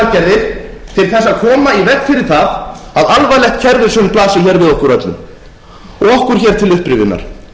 fyrir það að alvarlegt kerfishrun blasi hér við okkur öllum okkur hér til upprifjunar